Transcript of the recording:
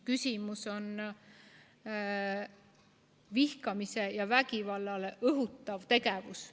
Küsimus on vihkamisele ja vägivallale õhutav tegevus.